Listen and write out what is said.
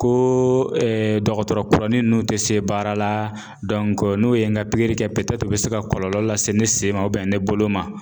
Ko dɔgɔtɔrɔ kuranin ninnu tɛ se baara la n'o ye n ka pikiri kɛ u bɛ se ka kɔlɔlɔ lase se ne sen ma ne bolo ma